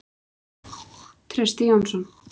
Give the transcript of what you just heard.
Trausti Jónsson